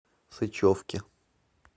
сычевке